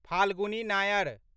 Falguni Nair